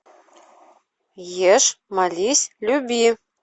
ешь молись люби